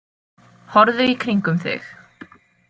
Horfðu í kringum þig.